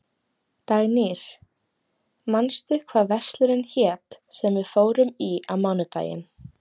Dagnýr, manstu hvað verslunin hét sem við fórum í á mánudaginn?